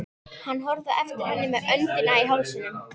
Hann horfði á eftir henni með öndina í hálsinum.